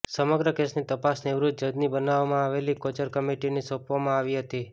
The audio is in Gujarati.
સમગ્ર કેસની તપાસ નિવૃત્ત જજની બનાવવામાં આવેલી કોચર કમિટીને સોંપવામાં આવી હતી